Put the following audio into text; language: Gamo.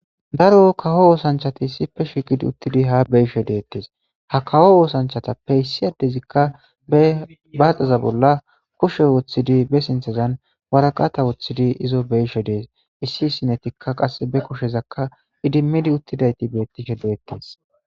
Daro kawo woosanchati issippe shigidi uttidi ha beishe deettees ha kawo oosanchatappe issi adezikka ebaaxaza bolla kushe woththidi be sinthazan waraqata woththidi izo beishe dees issi ssinetikka qass be kushezakka idimmidi uttidayti beettishe deettees.